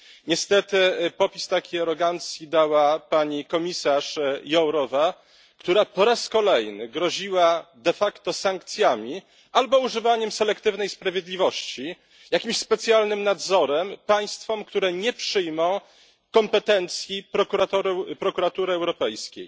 Niestety popis takiej arogancji dała pani komisarz Jourová, która po raz kolejny groziła de facto sankcjami albo używaniem selektywnej sprawiedliwości, jakimś specjalnym nadzorem, tym państwom, które nie przyjmą kompetencji Prokuratury Europejskiej.